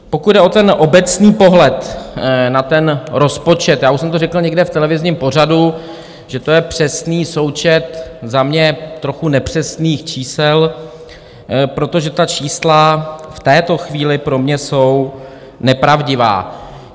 Pokud jde o ten obecný pohled na ten rozpočet, já už jsem to řekl někde v televizním pořadu, že to je přesný součet za mě trochu nepřesných čísel, protože ta čísla v této chvíli pro mě jsou nepravdivá.